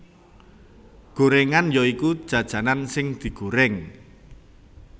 Gorengan ya iku jajanan sing digoreng